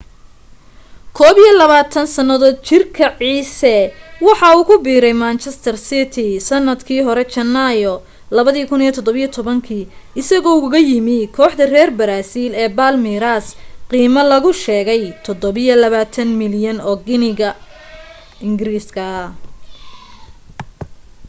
21 sannadood jirka ciise waxa uu ku biiray manchester city sannadkii hore janaayo 2017 isagoo ugaga yimu kooxda reer baraasiil ee palmeiras qiime lagu sheegay £27 milyan